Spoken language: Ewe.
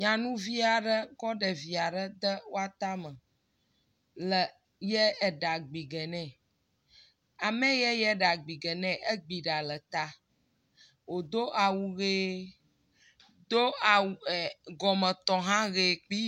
Nyanuvi aɖe kɔ ɖevi aɖe de atame, le yie ɖa gbi ge nɛ. Ame yee yie eɖagbi ge nɛ egbi ɖa ɖe ta. Wòdo awu ʋee, do awu ee.. gɔmetɔ hã ʋee kpi.